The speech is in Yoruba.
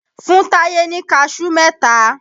Fún Táyé ni Kaṣú mẹ́ta!